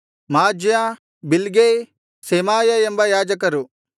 Maaziah Bilgai Shemaiah ಎಂಬ ಯಾಜಕರು